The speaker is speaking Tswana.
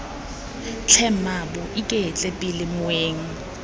tlhe mmaabo iketle pele moeng